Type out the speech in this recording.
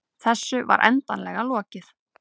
Þessu var endanlega lokið.